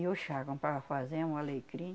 E o chá, comprava alfazema, o alecrim.